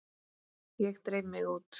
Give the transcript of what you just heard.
Ég dreif mig út.